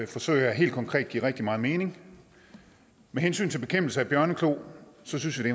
forsøg her helt konkret giver rigtig meget mening med hensyn til bekæmpelse af bjørneklo synes vi